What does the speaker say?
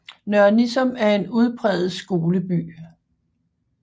Nørre Nissum er en udpræget skoleby